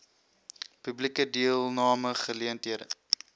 publieke deelname geleenthede